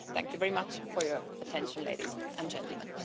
Thank you very much for your attention, ladies and gentlemen.